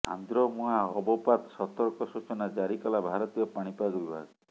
ଆନ୍ଧ୍ର ମୁହାଁ ଅବପାତ ସତର୍କ ସୂଚନା ଜାରି କଲା ଭାରତୀୟ ପାଣିପାଗ ବିଭାଗ